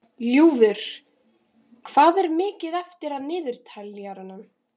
Ljúfur, hvað er mikið eftir af niðurteljaranum?